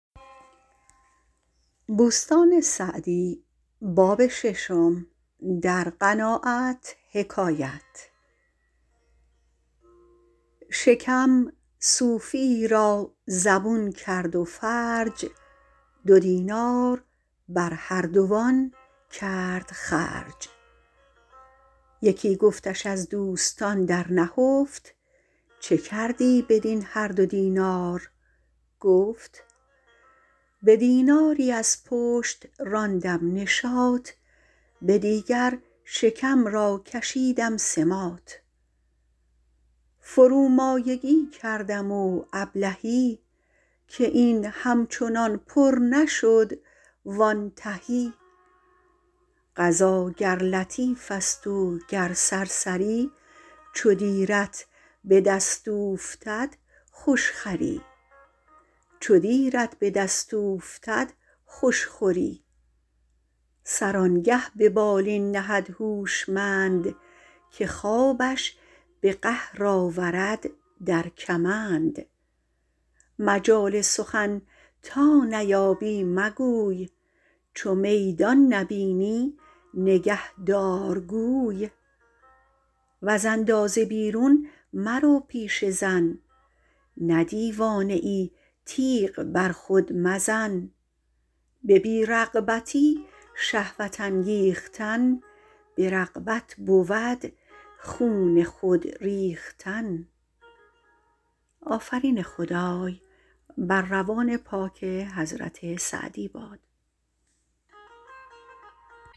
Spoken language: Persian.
شکم صوفیی را زبون کرد و فرج دو دینار بر هر دوان کرد خرج یکی گفتش از دوستان در نهفت چه کردی بدین هر دو دینار گفت به دیناری از پشت راندم نشاط به دیگر شکم را کشیدم سماط فرومایگی کردم و ابلهی که این همچنان پر نشد وآن تهی غذا گر لطیف است و گر سرسری چو دیرت به دست اوفتد خوش خوری سر آنگه به بالین نهد هوشمند که خوابش به قهر آورد در کمند مجال سخن تا نیابی مگوی چو میدان نبینی نگه دار گوی وز اندازه بیرون مرو پیش زن نه دیوانه ای تیغ بر خود مزن به بی رغبتی شهوت انگیختن به رغبت بود خون خود ریختن